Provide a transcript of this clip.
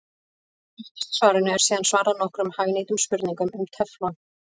Aftast í svarinu er síðan svarað nokkrum hagnýtum spurningum um teflon.